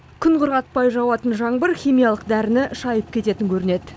күн құрғатпай жауатын жаңбыр химиялық дәріні шайып кететін көрінеді